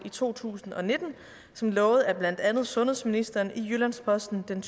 i to tusind og nitten som lovet af blandt andet sundhedsministeren i jyllands posten den